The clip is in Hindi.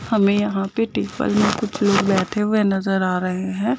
हमे यहाँ पे टेबल मे कुछ लोग बैठे हुए नज़र आरहे है ।